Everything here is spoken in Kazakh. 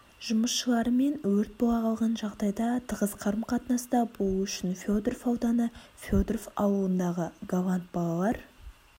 жұмысшыларымен өрт бола қалған жағдайда тығыз қарым-қатынаста болу үшін федоров ауданы федоров ауылындағы галанд балалар